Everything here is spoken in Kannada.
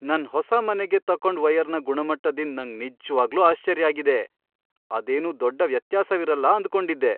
ನನ್ ಹೊಸ ಮನೆಗೆ ತಕೊಂಡ್ ವಯರ್ನ ಗುಣಮಟ್ಟದಿಂದ್ ನಂಗ್ ನಿಜ್ವಾಗ್ಲೂ ಆಶ್ಚರ್ಯ ಆಗಿದೆ. ಅದೇನು ದೊಡ್ಡ ವ್ಯತ್ಯಾಸವಿರಲ್ಲ ಅಂದ್ಕೊಂಡಿದ್ದೆ!